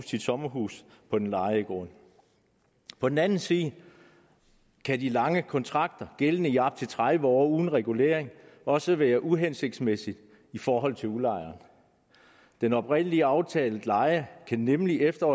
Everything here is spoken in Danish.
sit sommerhus på den lejede grund på den anden side kan de lange kontrakter gældende i op til tredive år uden regulering også være uhensigtsmæssige i forhold til udlejeren den oprindelige aftalte leje kan nemlig efter